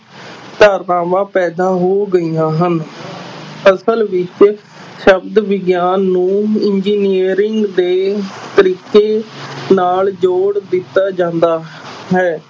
ਧਾਰਨਾਵਾਂ ਪੈਦਾ ਹੋ ਗਈਆਂ ਹਨ ਅਸਲ ਵਿੱਚ ਸ਼ਬਦ ਵਿਗਿਆਨ ਨੂੰ engineering ਦੇ ਤਰੀਕੇ ਨਾਲ ਜੋੜ ਦਿੱਤਾ ਜਾਂਦਾ ਹੈ।